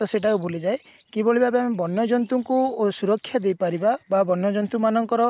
ତ ସେଇଟା କୁ ଭୁଲି ଯାଇ କିଭଳି ଭାବେ ଆମେ ବନ୍ୟଜନ୍ତୁ ଙ୍କୁ ସୁରକ୍ଷା ଦେଇ ପାରିବା ବା ବନ୍ୟ ଜନ୍ତୁ ମାନଙ୍କର